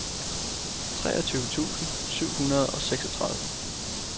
treogtyve tusind syv hundrede og seksogtredive